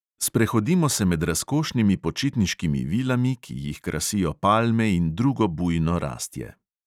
Sprehodimo se med razkošnimi počitniškimi vilami, ki jih krasijo palme in drugo bujno rastje.